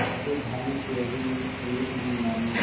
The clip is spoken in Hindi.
पर भानुकुँवरि ने एक न मानी